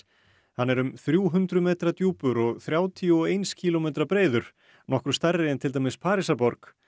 hann er um þrjú hundruð metra djúpur og þrjátíu og eins kílómetra breiður nokkru stærri en til dæmis Parísarborg